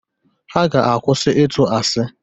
Ha ga-akwụsị ịtụ asị